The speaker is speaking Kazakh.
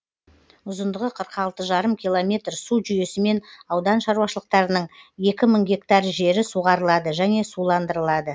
ұзындығы қырық алты жарым километр су жүйесімен аудан шаруашылықтарының екі мың гектар жері суғарылады және суландырылады